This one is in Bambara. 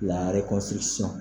Lare kosi sɔn